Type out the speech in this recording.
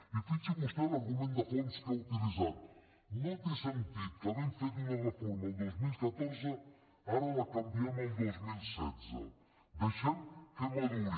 i fixi’s vostè en l’argument de fons que ha utilitzat no té sentit que havent fet una reforma el dos mil catorze ara la canviem el dos mil setze deixem que maduri